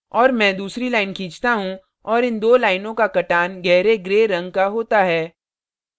और मैं दूसरी line खींचता हूँ और इन दो लाइनों का कटान gray gray रंग का होता है